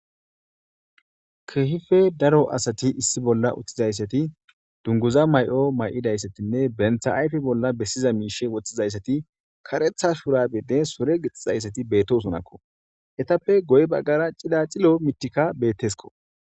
Keehippe daro asat issi bolla utidaysat dunguza mayo mayidaysatinne banta ayfe bolla besiza mishe wothizaysati , karetha shurabenne sure gixizaysati betosonako. Etappe guye bagara cilacilo mithiyka betesko.